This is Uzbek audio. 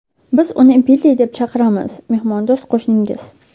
Biz uni Billi deb chaqiramiz”, mehmondo‘st qo‘shningiz.